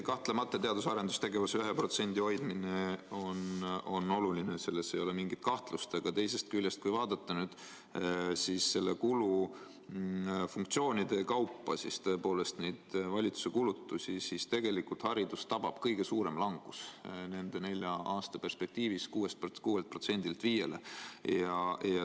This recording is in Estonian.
Kahtlemata teadus‑ ja arendustegevuse 1% hoidmine on oluline, selles ei ole mingit kahtlust, aga teisest küljest, kui vaadata valitsuse kulutusi kulufunktsioonide kaupa, siis tegelikult tabab haridust nende nelja aasta perspektiivis kõige suurem langus: 6%‑lt 5%‑le.